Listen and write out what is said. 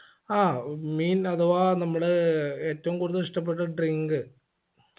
ആ mean അഥവാ നമ്മള് ഏറ്റവും കൂടുതൽ ഇഷ്ടപെട്ട drink